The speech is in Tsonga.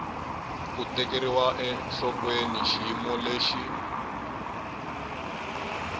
ku tekeriwa enhlokweni xiyimo lexi